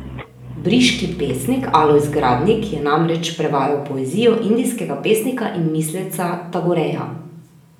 Briški pesnik Alojz Gradnik je namreč prevajal poezijo indijskega pesnika in misleca Tagoreja.